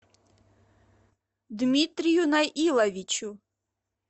дмитрию наиловичу